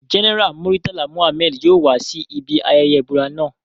General Muritala Mohammed yoo wa si ibi ayẹyẹ ibura naa